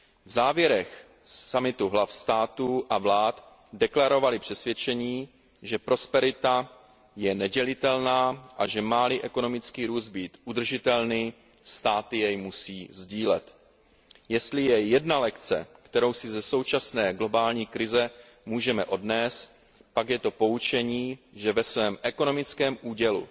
V závěrech summitu hlavy států a vlád deklarovaly přesvědčení, že prosperita je nedělitelná, a že má li ekonomický růst být udržitelný, státy jej musí sdílet. Jestli je jedna lekce, kterou si ze současné globální krize můžeme odnést, pak je to poučení, že ve svém ekonomickém údělu